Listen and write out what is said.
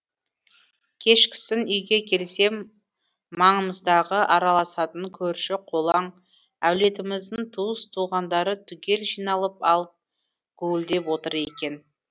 кешкісін үйге келсем маңымыздағы араласатын көрші қолаң әулетіміздің туыс туғандары түгел жиналып алып гуілдеп отыр екен